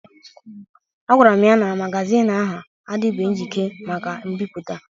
A gwara m ya n'magazin ahụ adịbeghi njikere maka mbipụta